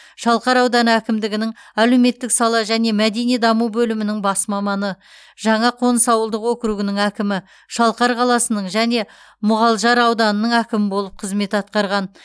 шалқар ауданы әкімдігінің әлеуметтік сала және мәдени даму бөлімінің бас маманы жаңақоныс ауылдық округінің әкімі шалқар қаласының және мұғалжар ауданының әкімі болып қызмет атқарған